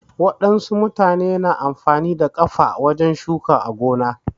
Wadansu mutane na amfani da kafa wajen shuka a gona